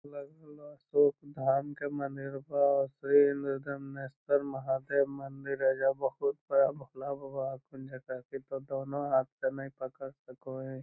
लग रहलो अशोक धाम के मंदिरवा हेय ओकरे मे गणेश्वर महादेव मंदिर हेय एजा बहुत बड़ा भोला बाबा हथीन जकरा की दोनों हाथ से ने पकड़ सको हेय।